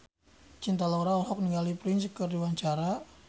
Cinta Laura olohok ningali Prince keur diwawancara